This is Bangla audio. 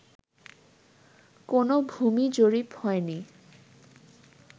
কোনো ভূমি জরিপ হয়নি